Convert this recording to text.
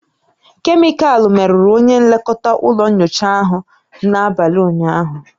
Kemịkalụ merụrụ onye nlekọta ụlọ nyocha ahụ n'abalị ụnyaahụ